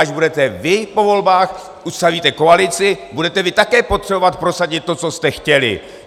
Až budete vy po volbách, ustavíte koalici, budete vy také potřebovat prosadit to, co jste chtěli.